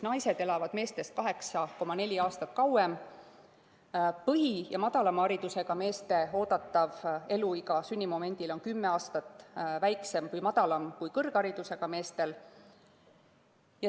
Põhihariduse ja madalama haridustasemega meeste oodatav eluiga sünnimomendil on 10 aastat lühem kui kõrgharidusega meestel.